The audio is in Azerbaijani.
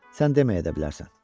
Sən deməyə də bilərsən.